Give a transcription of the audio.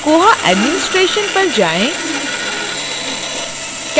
koha administration पर जाएँ